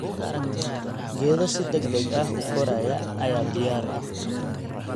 Geedo si degdeg ah u koraya ayaa diyaar ah.